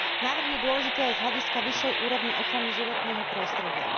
Návrh je dôležitý aj z hľadiska vyššej úrovne ochrany životného prostredia.